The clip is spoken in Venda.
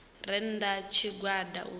re nnda ha tshigwada u